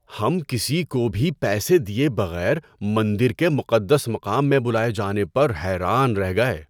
ہم کسی کو بھی پیسے دیے بغیر مندر کے مقدس مقام میں بلائے جانے پر حیران رہ گئے۔